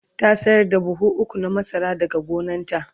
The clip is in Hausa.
ta sayar da buhu ukwu na masara daga gonanta